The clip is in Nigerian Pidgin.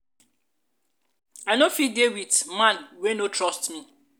i no go fit dey with man wey no trust me.